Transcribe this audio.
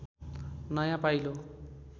नयाँ पाइलो